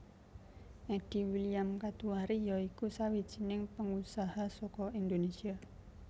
Eddy William Katuari ya iku sawijining pengusaha saka Indonesia